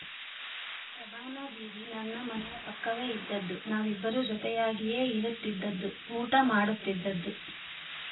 ಶಭಾನಾ ದೀದಿ ನನ್ನ ಮನೆಯ ಪಕ್ಕವೇ ಇದ್ದದ್ದು ನಾವಿಬ್ಬರೂ ಜೊತೆಯಾಗಿಯೇ ಇರುತ್ತಿದ್ದದ್ದು ಊಟ ಮಾಡುತ್ತಿದ್ದದ್ದು